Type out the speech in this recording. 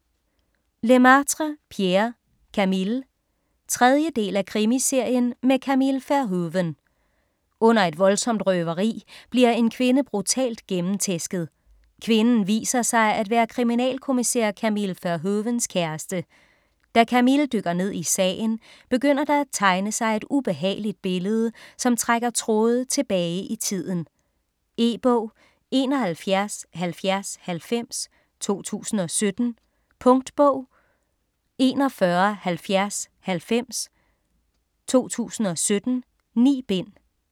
Lemaitre, Pierre: Camille 3. del af Krimiserien med Camille Verhoeven. Under et voldsomt røveri bliver en kvinde brutalt gennemtæsket. Kvinden viser sig at være kriminalkommissær Camille Verhoevens kæreste. Da Camille dykker ned i sagen, begynder der at tegne sig et ubehageligt billede, som trækker tråde tilbage i tiden. E-bog 717090 2017. Punktbog 417090 2017. 9 bind.